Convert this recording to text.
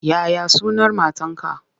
Ya ya sunan matarka?